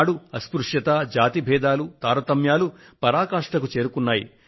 అలనాడు అస్పృశ్యత జాతి భేదాలు తారతమ్యాలు పరాకాష్ఠకు చేరాయి